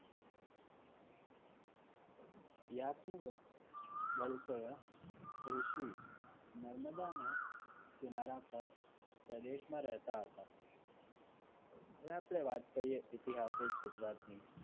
વલકય ઋષિ નર્મદાના કિનારા પર પ્રદેશમાં રહેતા હતા હવે આપણે વાત કરે ઇતિહાસક ગુજરાતની